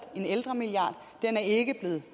en ældremilliard den er ikke blevet